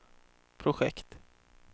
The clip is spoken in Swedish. projekt